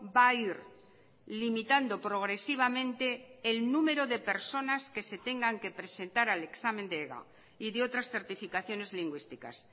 va a ir limitando progresivamente el número de personas que se tengan que presentar al examen de ega y de otras certificaciones lingüísticas